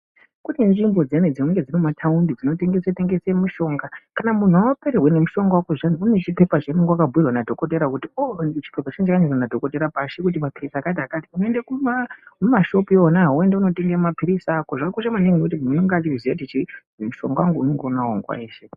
Kune nzvimbo dziyani mumataundi dzinotengeswa mitombo kana wapererwa nemitombo zviyani kune zvipepa zvaunenge wakanyorerwa nadhokodheya kuti onyorerwa nadhokodheya pashi kuti unoenda mumashopu Mona imomo motenga mapirizi ako wobaziva kuti mushonga uyu unenge unawo nguwa yeshe.